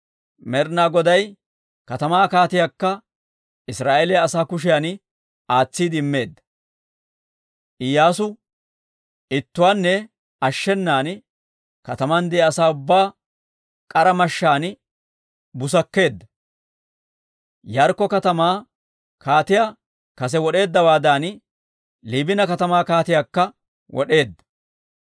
Med'ina Goday he katamaakka katamaa kaatiyaakka Israa'eeliyaa asaa kushiyan aatsiide immeedda. Iyyaasu ittuwaanne ashshenan, kataman de'iyaa asaa ubbaa k'ara mashshaan busakkeedda. Yaarikko katamaa kaatiyaa kase wod'eeddawaadan, Liibina katamaa kaatiyaakka wod'eedda.